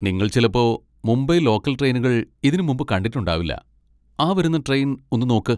നിങ്ങൾ ചിലപ്പോ മുംബൈ ലോക്കൽ ട്രെയിനുകൾ ഇതിനുമുമ്പ് കണ്ടിട്ടുണ്ടാവില്ല, ആ വരുന്ന ട്രെയിൻ ഒന്ന് നോക്ക്.